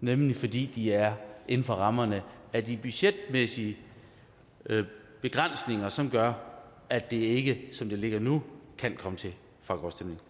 nemlig fordi de er inden for rammerne af de budgetmæssige begrænsninger som gør at det ikke som det ligger nu kan komme til folkeafstemning